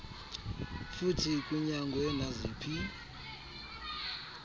futhi kunyangwe naziphi